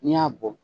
N'i y'a bɔ